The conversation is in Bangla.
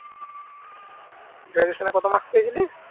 graduation কত marks পেয়েছিলি